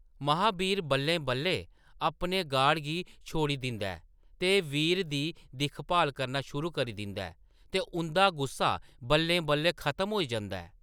महाबीर बल्लें-बल्लें अपने गार्ड गी छोड़ी दिंदा ऐ ते वीर दी दिक्ख-भाल करना शुरू करी दिंदा ऐ, ते उंʼदा गुस्सा बल्लें-बल्लें खत्म होई जंदा ऐ।